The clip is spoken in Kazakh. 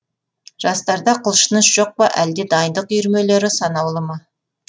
жастарда құлшыныс жоқ па әлде дайындық үйірмелері санаулы ма